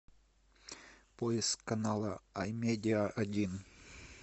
поиск канала амедиа один